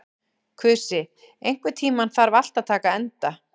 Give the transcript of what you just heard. Kusi, einhvern tímann þarf allt að taka enda.